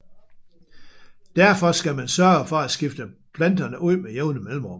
Derfor skal man sørge for at skifte planterne ud med jævne mellemrum